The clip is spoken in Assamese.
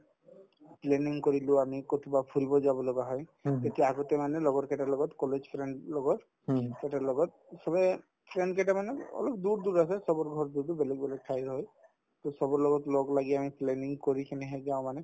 planning কৰিলো আমি ক'ৰবাত ফুৰিব যাব লগা হয় তেতিয়া আগতে মানে লগৰ কেইটাৰ লগত college friend ৰ লগত সিহঁতৰ লগত চবে friend কেইটামানে অলপ দূৰ দূৰ আছে চবৰ ঘৰ যিহেতু বেলেগ বেলেগ ঠাইৰ হয় to চবৰ লগত লগ লাগি আমি planning কৰিকিনেহে যাওঁ মানে